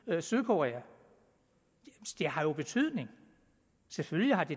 med sydkorea det har jo betydning selvfølgelig har det